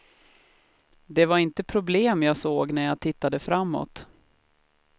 Det var inte problem jag såg när jag tittade framåt.